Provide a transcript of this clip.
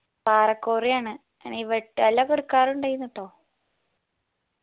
പാറ cory ആണ് എനി വേട്ടക്കാല്ലൊക്കെ എടക്കാറുണ്ടായിരുന്നട്ടോ